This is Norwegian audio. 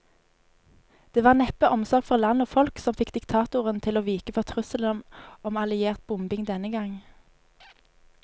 Det var neppe omsorg for land og folk som fikk diktatoren til å vike for trusselen om alliert bombing denne gang.